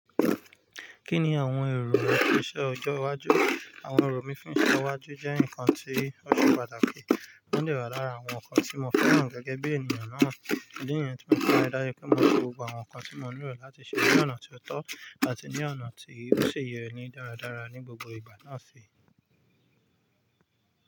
Kí ni àwọn èrò rẹ fún iṣẹ́ ọjọ́ iwájú? Àwọn èrò mi fún iṣẹ́ iwájú jẹ́ nǹkan tí ó ṣe pàtàkì. Won dè wa lára àwọn nǹkan tí mo fẹ́ràn gẹ́gẹ́ bí ènìyàn náà. Idí niyen tí mo fi ri dáju pe mọ n lo gbogbo àwọn nǹkan tí mo n lò láti ṣe ní ọ̀nà tió tọ́ àti ní ọ̀nà tí ó ṣe yẹ ni dáradára ní gbogbo ìgbà náà fi.